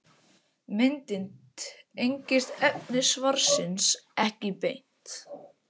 Myndin tengist efni svarsins ekki beint.